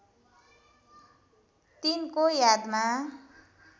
तिनको यादमा